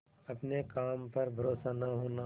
अपने काम पर भरोसा न होना